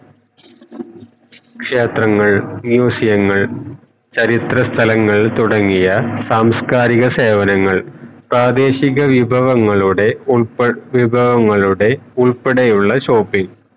ക്ഷേത്രങ്ങൾ മ്യുസിയങ്ങൾ ചരിത്ര സ്ഥലങ്ങൾ തുടങ്ങിയ സാംസ്കാരിക സേവനങ്ങൾ പ്രതിഷിക വിഭവങ്ങളുടെ ഉൾപ വിഭവങ്ങളുടെ ഉൾപ്പെടെ ഉള്ള shopping